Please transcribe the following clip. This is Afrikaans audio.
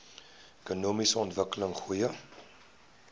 ekonomiese ontwikkeling goeie